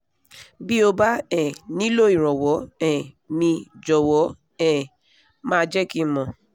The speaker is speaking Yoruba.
bí o bá um nílò ìrànwọ́ um míì jọ̀wọ́ um máa jẹ́ kí n mọ̀